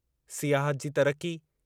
सियाहत जी तरक़ी